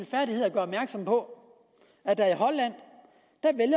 så på